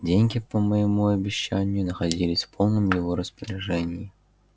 деньги по моему обещанию находились в полном его распоряжении